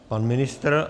Pan ministr?